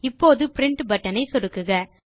இப்போது print button ஐ சொடுக்குக